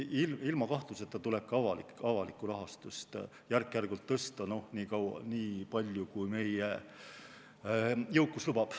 Ilma kahtluseta tuleb ka avalikku rahastust järk-järgult tõsta – nii palju, kui meie jõukus lubab.